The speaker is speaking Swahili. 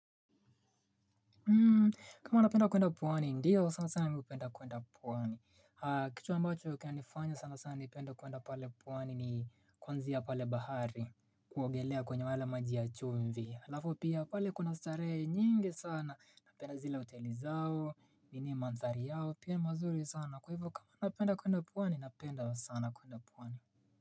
Kama napenda kwenda pwani. Ndiyo, sana sana ningependa kwenda pwani. Kitu ambacho kinanifanya sana sana nipende kwenda pale pwani, ni konzi ya pale bahari. Kuogelea kwenye wale maji ya chumvi, alafu pia pale kuna starehe nyingi sana. Napenda zile hoteli zao nini mandhari yao. Pia mazuri sana kwa hivyo kama napenda kwenda pwani, napenda sana kwenda pwani.